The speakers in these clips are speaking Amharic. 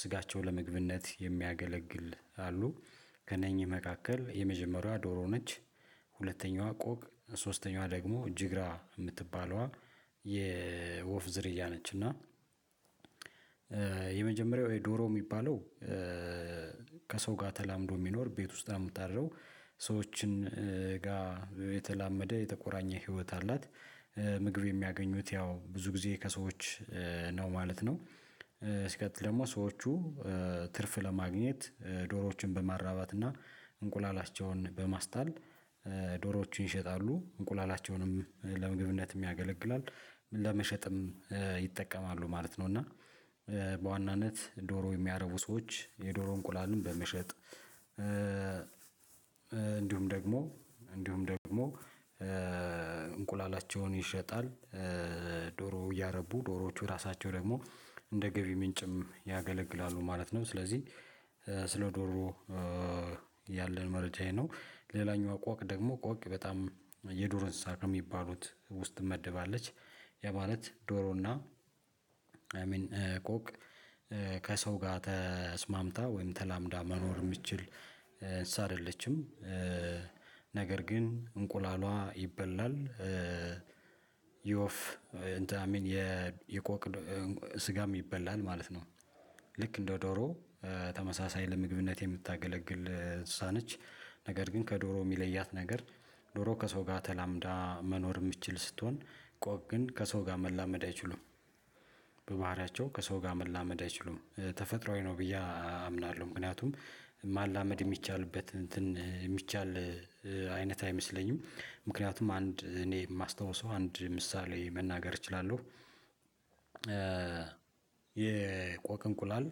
ስጋቸው ለምግብነት የሚያገለግል አሉ። ከነኚህ መካከል የመጀመሪያዋ ዶሮ ነች። ሁለተኛዋ ቆቅ ሶስተኛዋ ደግሞ ጅግራ የምትባለዋ የወፍ ዝርያ ነች እና። የመጀመሪያው የዶሮ የሚባለው ከሰው ጋር ተላምዶ የሚኖር ቤት ውስጥ ነው የምታድረው ሰዎችን ጋር የተላመደ የተቆራኘ ህይወት አላት። ምግብ የሚያገኙት ያው ብዙ ጊዜ ከሰዎች ነው ማለት ነው። ስለዚህ ደግሞ ሰዎቹ ትርፍ ለማግኘት ዶሮዎችን በማራባት እና እንቁላላቸውን በማስጣል ዶሮዎችን ይሸጣሉ እንቁላላቸውንም ለምግብነትም ያገለግላል ለመሸጥም ይጠቀማሉ ማለት ነው። እና በዋናነት ዶሮ የሚያረቡ ሰዎች የዶሮ እንቁላሉን በመሸጥ እንዲሁም ደግሞ እንዲሁም ደግሞ እንቁላላቸውን ይሸጣል። ዶሮ እያረቡ ዶሮዎቹ ራሳቸው ደግሞ እንደ ገቢ ምንጭም ያገለግላሉ ማለት ነው። ስለዚህ ስለ ዶሮ ያለን መረጃ ነው። ሌላኛው ቆቅ ደግሞ ቆቅ በጣም የዱር እንስሳ ከሚባሉት ውስጥ መደባለች። ያ ማለት ዶሮና ሚን ቆቅ ከሰው ጋር ተስማምታ ወይም ተላምዳ መኖር የምትችል ሳልልሽም ነገር ግን እንቁላሏ ይበላል። ኦፍ እንትና ሚን የቆቅ ስጋም ይበላል ማለት ነው። ልክ እንደ ዶሮ ተመሳሳይ ለምግብነት የምታገለግል እንስሳ ነች። ነገር ግን ከዶሮ የሚለያት ነገር ዶሮ ከሰው ጋር ተላምዳ መኖር የምትችል ስትሆን ቆቅ ግን ከሰው ጋር መላመድ አይችሉም። በባህሪያቸው ከሰው ጋር መላመድ አይችሉም ተፈጥሮአዊ ነው ብዬ አምናለሁ። ምክንያቱም ማላመድ የሚቻልበት እንትን የሚቻል አይነት አይመስለኝም። ምክንያቱም አንድ እኔ የማስታውሰው አንድ ምሳሌ መናገር እችላለሁ። የቆቅ እንቁላል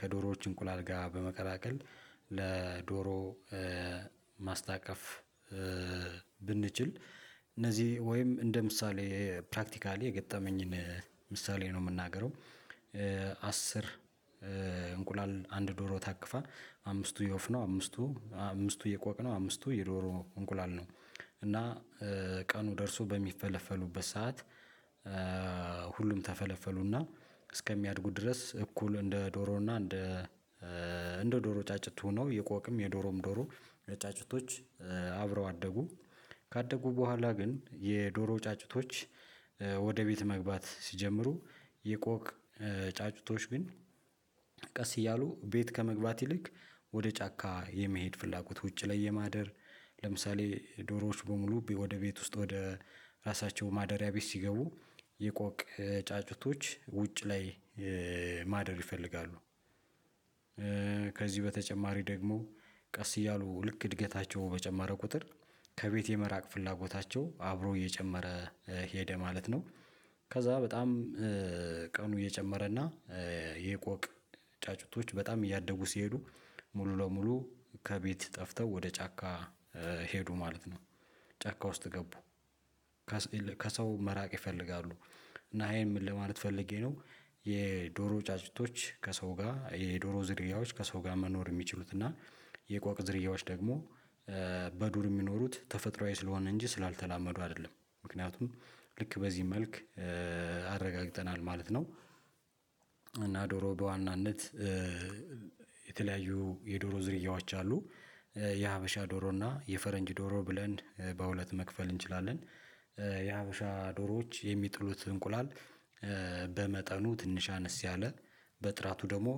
ከዶሮዎች እንቁላል ጋር በመቀላቀል ለዶሮ ማስታቀፍ ብንችል እነዚህ ወይም እንደ ምሳሌ ፕራክቲካሊ የገጠመኝን ምሳሌ ነው የምናገረው። አስር እንቁላል አንድ ዶሮ ታቅፋ አምስቱ የወፍ ነው አምስቱ አምስቱ የቆቅ ነው አምስቱ የዶሮ እንቁላል ነው። እና ቀኑ ደርሶ በሚፈለፈሉበት ሰዓት ሁሉም ተፈለፈሉና እስከሚያድጉት ድረስ እኩል እንደ ዶሮና እንደ እንደ ዶሮ ጫጭት ሆኖ የቆቅም የዶሮም ዶሮ ጫጭቶች አብረው አደጉ። ካደጉ በኋላ ግን የዶሮ ጫጩቶች ወደ ቤት መግባት ሲጀምሩ። የቆቅ ጫጩቶች ግን ቀስ እያሉ ቤት ከመግባት ይልቅ ወደ ጫካ የመሄድ ፍላጎት ውጪ ላይ የማደር። ለምሳሌ ዶሮዎች በሙሉ ወደ ቤት ውስጥ ወደ ራሳቸው ማደሪያ ቤት ሲገቡ የቆቅ ጫጩቶች ውጭ ላይ ማደር ይፈልጋሉ። ከዚህ በተጨማሪ ደግሞ ቀስ እያሉ ልክ እድገታቸው በጨማረ ቁጥር ከቤቴ የመራቅ ፍላጎታቸው አብሮ እየጨመረ ሄደ ማለት ነው። ከዛ በጣም ቀኑ እየጨመረና የቆቅ ጫጩቶች በጣም እያደጉ ሲሄዱ ሙሉ ለሙሉ ከቤት ጠፍተው ወደ ጫካ ሄዱ ማለት ነው። ጫካ ውስጥ ገቡ ከሰው መራቅ ይፈልጋሉ። እና ይሄን ምን ለማለት ፈልጌ ነው። የዶሮ ጫጭቶች ከሰው ጋር የዶሮ ዝርያዎች ከሰው ጋር መኖር የሚችሉት እና የቆቅ ዝርያዎች ደግሞ በዱር የሚኖሩት ተፈጥሮአዊ ስለሆነ እንጂ ስላልተላመዱ አይደለም ምክንያቱም ልክ በዚህ መልክ አረጋግጠናል ማለት ነው። እና ዶሮ በዋናነት የተለያዩ የዶሮ ዝርያዎች አሉ። የሀበሻ ዶሮ እና የፈረንጅ ዶሮ ብለን በሁለት መክፈል እንችላለን። የሀበሻ ዶሮዎች የሚጥሉት እንቁላል በመጠኑ ትንሽ አነስ ያለ በጥራቱ ደግሞ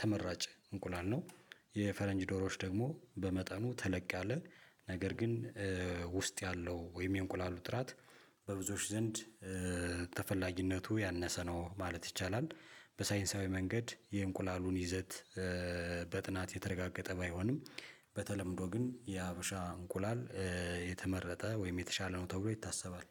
ተመራጭ እንቁላል ነው። የፈረንጅ ዶሮዎች ደግሞ በመጠኑ ተለቅ ያለ ነገር ግን ውስጥ ያለው ወይም የእንቁላሉ ጥራት በብዙዎች ዘንድ ተፈላጊነቱ ያነሰ ነው ማለት ይቻላል። በሳይንሳዊ መንገድ የእንቁላሉን ይዘት በጥናት የተረጋገጠ ባይሆንም በተለምዶ ግን የሀበሻ እንቁላል የተመረጠ ወይም የተሻለ ነው ተብሎ ይታሰባል።